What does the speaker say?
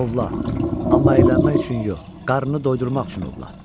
Ovla, amma əylənmək üçün yox, qarnını doyurmaq üçün ovla.